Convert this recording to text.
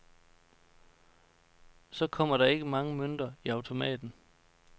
Så kommer der ikke mange mønter i automaten.